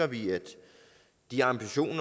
tak jeg